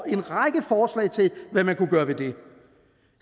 en række forslag til hvad man kunne gøre ved det